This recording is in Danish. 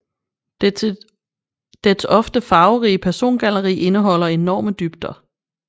Dets ofte farverige persongalleri indeholder enorme dybder